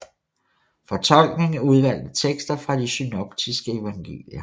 Fortolkning af udvalgte tekster fra de synoptiske evangelier